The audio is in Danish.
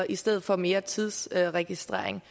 i stedet for mere tidsregistrering